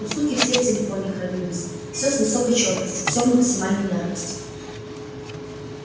у суки все в телефоне хранились все с высокой чёткости все в максимальной яркости